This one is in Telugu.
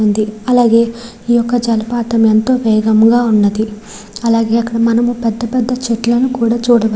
ఉంది అలాగే ఈ యొక్క జలపాతం ఎంతో వేగం గా ఉన్నది . అలాగే మనము అక్కడ పెద్ధ పెద్ద పెద్ద చెట్లను కూడా చూడవచ్--